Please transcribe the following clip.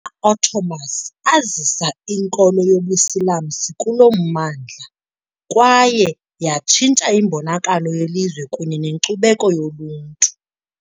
Ottomans azisa inkolo yobuSilamsi kulo mmandla, kwaye yatshintsha imbonakalo yelizwe kunye nenkcubeko yoluntu.